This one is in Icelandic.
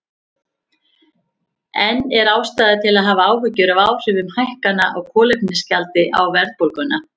En er ástæða til að hafa áhyggjur af áhrifum hækkana á kolefnisgjaldi á verðbólguna?